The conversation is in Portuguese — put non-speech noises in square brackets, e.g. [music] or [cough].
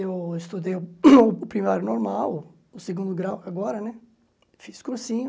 Eu estudei o [coughs] o primário normal, o segundo grau agora, fiz cursinho.